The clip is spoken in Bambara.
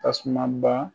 Tasuma ba